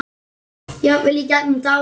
Jafnvel í gegnum tárin.